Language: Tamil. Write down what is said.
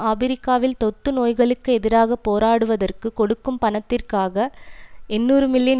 ஆபிரிக்காவில் தொத்து நோய்களுக்கு எதிராக போரிடுவதற்கு கொடுக்கும் பணத்திற்காக எண்ணூறு மில்லியன்